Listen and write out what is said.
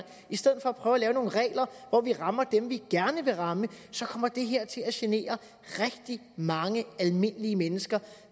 i stedet for at prøve at lave nogle regler hvor vi rammer dem vi gerne vil ramme så kommer det her til at genere rigtig mange almindelige mennesker